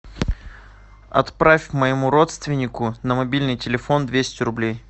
отправь моему родственнику на мобильный телефон двести рублей